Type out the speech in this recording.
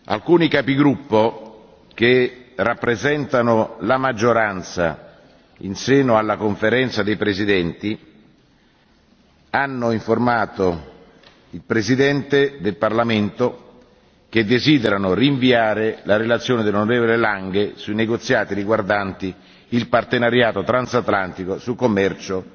Alcuni capigruppo, che rappresentano la maggioranza in seno alla Conferenza dei presidenti, hanno informato il Presidente del Parlamento che desiderano rinviare la relazione dell'onorevole Lange sui negoziati riguardanti il partenariato transatlantico su commercio